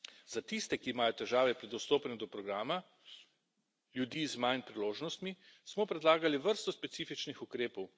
Za tiste, ki imajo težave pri dostopanju do programa, ljudi z manj priložnostmi, smo predlagali vrsto specifičnih ukrepov.